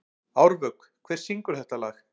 Árvök, hver syngur þetta lag?